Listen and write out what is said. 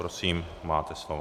Prosím, máte slovo.